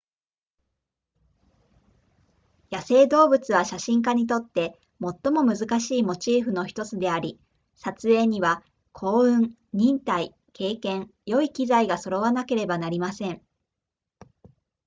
野生動物は写真家にとって最も難しいモチーフの1つであり撮影には幸運忍耐経験良い機材が揃わなければなりません